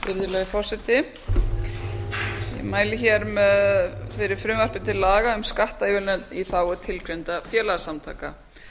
virðulegi forseti ég mæli fyrir frumvarpi til laga um skattaívilnanir í þágu tilgreindra félagasamtaka